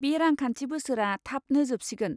बे रांखान्थि बोसोरा थाबनो जोबसिगोन।